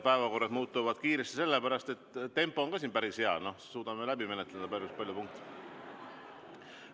Päevakorrad muutuvad kiiresti sellepärast, et ka tempo on meil päris hea ja me suudame läbi menetleda päris palju punkte.